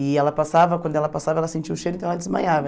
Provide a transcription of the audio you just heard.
E ela passava, quando ela passava ela sentia o cheiro, então ela desmaiava.